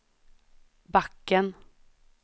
backen